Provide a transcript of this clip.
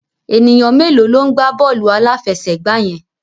Ènìyàn mélòó ló ń gbá bọ́ọ̀lù aláfẹsẹ̀gbá yẹn?